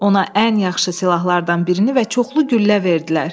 Ona ən yaxşı silahlardan birini və çoxlu güllə verdilər.